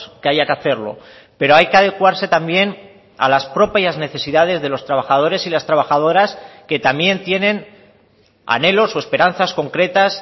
que haya que hacerlo pero hay que adecuarse también a las propias necesidades de los trabajadores y las trabajadoras que también tienen anhelos o esperanzas concretas